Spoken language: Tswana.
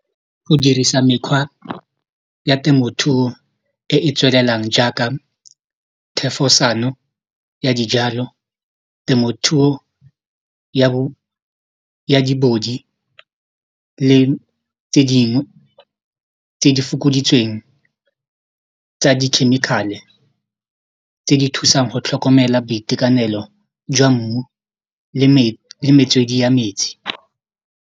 Go dirisa mekgwa ya temothuo e e tswelelang jaaka thefosano ya dijalo, temothuo ya le tse dingwe tse di fokoditsweng tsa di-chemical-e tse di thusang go tlhokomela boitekanelo jwa mmu le metswedi ya metsi.